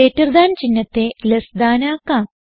greater than ചിഹ്നത്തെ less than ആക്കാം